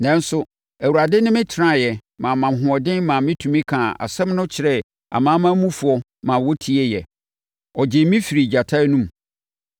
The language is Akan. Nanso, Awurade ne me tenaeɛ maa me ahoɔden maa metumi kaa asɛm no kyerɛɛ amanamanmufoɔ maa wɔtieeɛ. Ɔgyee me firii gyata anom.